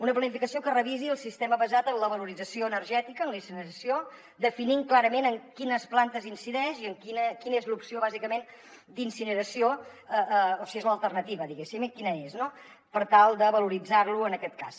una planificació que revisi el sistema basat en la valorització energètica en la incineració definint clarament en quines plantes incideix i quina és l’opció bàsicament d’incineració o si és l’alternativa diguéssim quina és no per tal de valoritzar lo en aquest cas